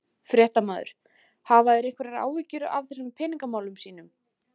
Fréttamaður: Hafa þeir einhverjar áhyggjur af þessum peningamálum sínum?